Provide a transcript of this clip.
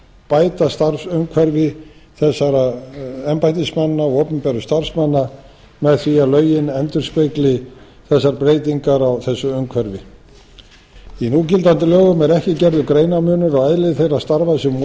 bæta starfsumhverfi þessara embættismanna og opinberra starfsmanna með því að lögin endurspegli þessar breytingar á þessu umhverfi í núgildandi lögum er ekki gerður greinarmunur á eðli þeirra starfa sem